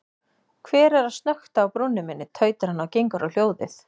Hver er að snökta á brúnni minni, tautar hann og gengur á hljóðið.